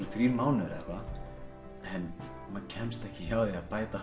þrír mánuðir en maður kemst ekki hjá því að bæta